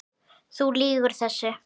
Þú lýgur þessu!